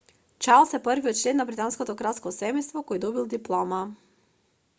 чарлс е првиот член на британското кралско семејство кој добил диплома